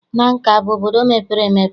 Nanka abụ obodo mepere emepe?